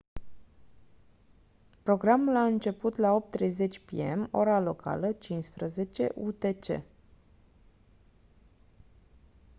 programul a început la 8:30 p.m. ora locală 15:00 utc